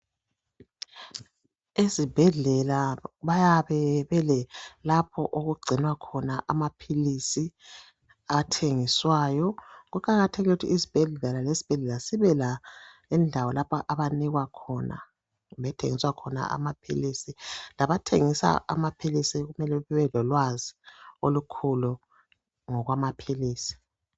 Ezibhedlela bayabe belelapho okugcinwa khona amaphilisi athengiswayo. Kuqakathekile ukuthi isibhedlela lesibhedlela sibe lendawo lapho abanikwa khona kumbe okuthengiswa khona amaphilisi. Labathengisa amaphilisi kumele bebe lolwazi olukhulu ngokwamaphilisi.